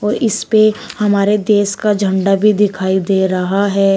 और इसपे हमारे देश का झंडा भी दिखाई दे रहा है।